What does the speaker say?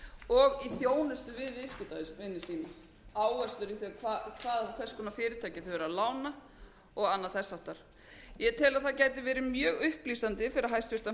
í þjónustu við viðskiptavini sína áherslur um hvers konar fyrirtækjum þau eru að lána og annað þess háttar ég tel að það gæti verið mjög upplýsandi fyrir hæstvirtan